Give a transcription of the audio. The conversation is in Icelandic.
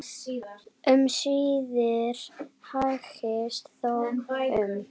Um síðir hægist þó um.